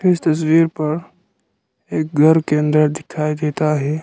इस तस्वीर पर एक घर के अंदर दिखाई देता है।